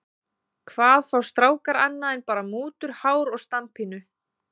Hvað fá strákar annað en bara mútur, hár og standpínu?